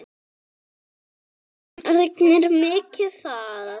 Það rignir mikið þar.